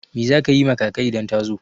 Me za ki yi ma kaka idan ta zo?